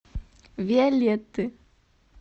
виолетты